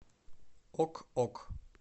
ок ок